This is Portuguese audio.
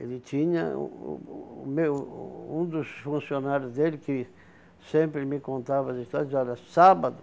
Ele tinha... Uh o meu um dos funcionários dele que sempre me contava as histórias dizia, olha, sábado,